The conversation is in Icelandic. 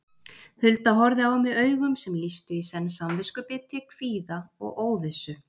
Hulda horfði á mig augum sem lýstu í senn samviskubiti, kvíða og óvissu.